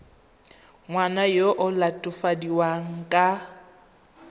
ngwana yo o latofadiwang ka